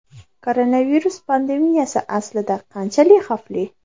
Koronavirus pandemiyasi aslida qanchalik xavfli?